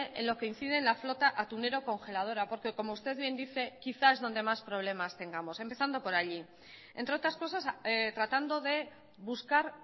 en lo que incide la flota atunera congeladora porque como usted bien dice quizás es donde más problemas tengamos empezamos por allí entre otras cosas tratando de buscar